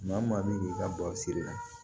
Maa o maa min b'i ka basi la